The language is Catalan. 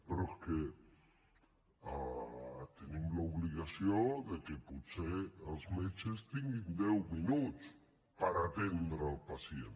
però és que tenim l’obligació de que potser els metges tinguin deu minuts per atendre el pacient